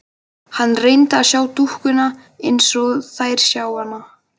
Hann reyndi að sjá dúkkuna eins og þeir sáu þær.